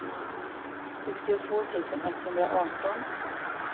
sextiotvå tusen etthundraarton